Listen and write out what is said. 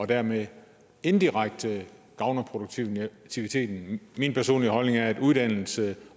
dermed indirekte gavner produktiviteten min personlige holdning er at uddannelse